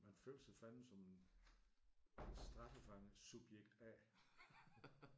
Man føler sig fandeme som en en straffefange. Subjekt A